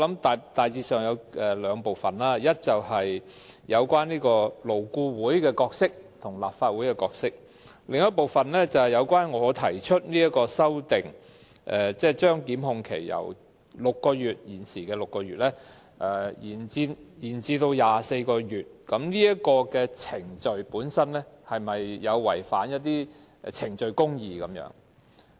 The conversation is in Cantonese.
第一，有關勞工顧問委員會和立法會的角色；第二，關於我提出的修正案，將檢控限期由現時的6個月延長至24個月的程序有否違反程序公義。